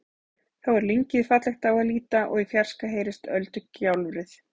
Þá er lyngið fallegt á að líta og í fjarska heyrist öldugjálfrið.